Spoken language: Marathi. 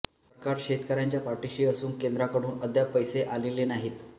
सरकार शेतकऱ्यांच्या पाठिशी असून केंद्राकडून अद्याप पैसे आलेले नाहीत